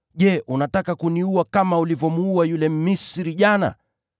Je, unataka kuniua kama ulivyomuua yule Mmisri jana?’